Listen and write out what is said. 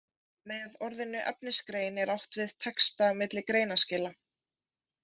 Með orðinu efnisgrein er átt við texta milli greinaskila.